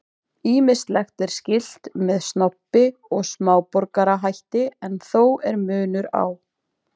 Ýmislegt er skylt með snobbi og smáborgarahætti en þó er munur á.